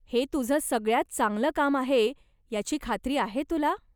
हे तुझं सगळ्यांत चांगलं काम आहे याची खात्री आहे तुला?